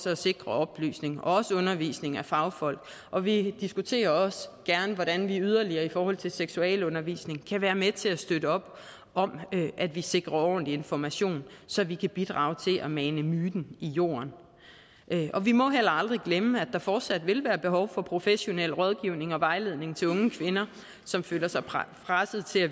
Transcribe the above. at sikre oplysning og undervisning af fagfolk og vi diskuterer også gerne hvordan vi yderligere i forhold til seksualundervisning kan være med til at støtte op om at vi sikrer en ordentlig information så vi kan bidrage til at mane myten i jorden vi må heller aldrig glemme at der fortsat vil være behov for professionel rådgivning og vejledning til unge kvinder som føler sig presset til at